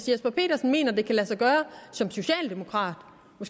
jesper petersen mener at det kan lade sig gøre som socialdemokrat